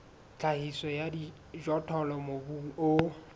tlhahiso ya dijothollo mobung o